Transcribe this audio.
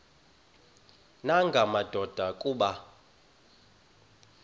nanga madoda kuba